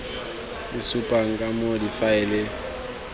e supang ka moo difaele